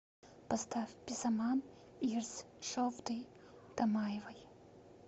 поставь безаман ирс шовды дамаевой